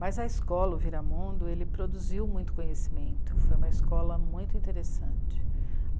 Mas a escola, o Viramundo, ele produziu muito conhecimento, foi uma escola muito interessante.